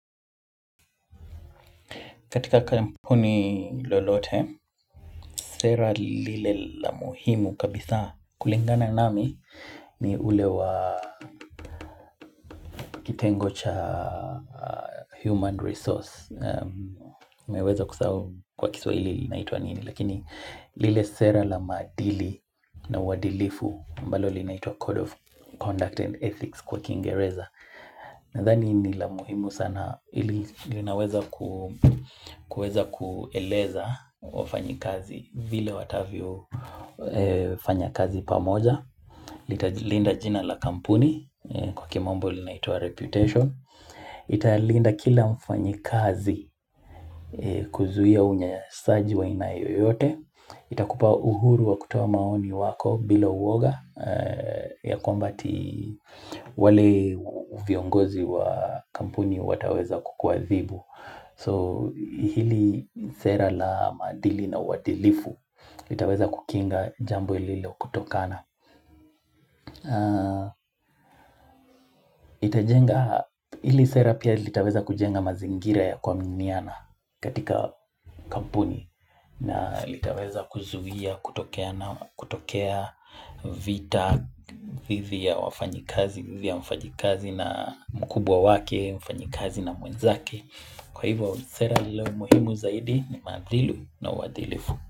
Katika kampuni lolote, sera lile la muhimu kabisa kulingana nami ni ule wa kitengo cha human resource. Nimeweza kusahau kwa kiswahili inaitwa nini. Lakini lile sera la maadili na uadilifu ambalo linaitwa code of conduct and ethics kwa kingereza. Nadhani ni la muhimu sana ili linaweza kuweza kueleza wafanyikazi vile watavyo fanya kazi pamoja, Litalilinda jina la kampuni kwa kimombo linaitwa reputation, Italinda kila mfanyikazi kuzuia unyanyasaji wa aina yoyote itakupa uhuru wa kutoa maoni wako bila uoga ya kwamba ati wale viongozi wa kampuni wataweza kukuadhibu So hili sera la maadili na uadilifu Litaweza kukinga jambo lilo kutokana itajenga hili sera pia litaweza kujenga mazingira ya kuaminiana katika kampuni na litaweza kuzuia, kutokea vita, hivi ya wafanyikazi, hivi ya mfanyikazi na mkubwa wake, mfanyikazi na mwenzake. Kwa hivyo sera lililo muhimu zaidi ni maadili na uadilifu.